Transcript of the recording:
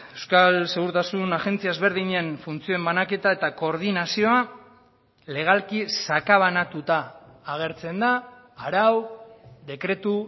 euskal segurtasun agentzia ezberdinen funtzioen banaketa eta koordinazioa legalki sakabanatuta agertzen da arau dekretu